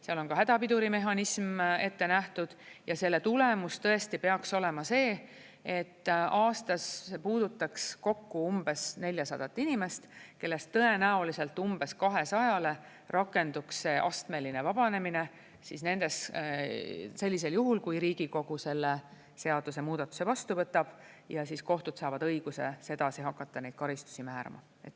Seal on hädapidurimehhanism ette nähtud ja selle tulemus peaks olema see, et aastas see puudutaks kokku umbes 400 inimest, kellest tõenäoliselt umbes 200-le rakenduks astmeline vabanemine siis nendes … sellisel juhul, kui Riigikogu selle seadusemuudatuse vastu võtab, ja kohtud saavad õiguse sedasi hakata neid karistusi määrama.